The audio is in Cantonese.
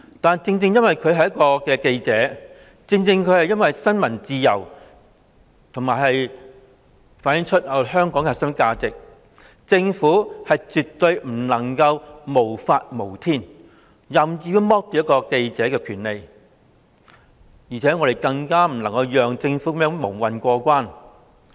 但是，正正因為他是一名記者，正正因為新聞自由是香港的核心價值，政府絕不能無法無天，任意剝奪一名記者的權利，我們更不能讓政府這樣蒙混過關。